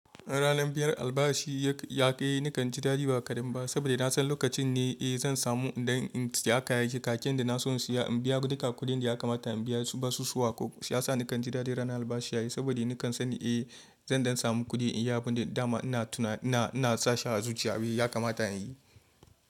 Ranar biyar albashi ya ƙi nakan ji dadi ba kadan ba saboda na san lokacin ne eh zan samu idan in saya kaken da na so in saya in biya duka kuɗin da ya kamata in biya su basu suwa ko. Shi ya sa nakan ji dadi ranar albashi yayi saboda nakan san eh zan samu kuɗi in yi abun da dama ina tuna ina ina sashi a zuciya. Abin ya kamata in yi.